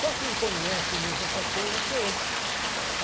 Só quem conhece mesmo essas coisas sou eu.